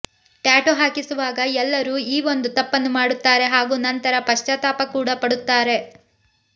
tattoo ಹಾಕಿಸುವಾಗ ಎಲ್ಲರೂ ಈ ಒಂದು ತಪ್ಪನ್ನು ಮಾಡುತ್ತಾರೆ ಹಾಗೂ ನಂತರ ಪಶ್ಚಾತಾಪ ಕೂಡಾ ಪಡುತ್ತಾರೆ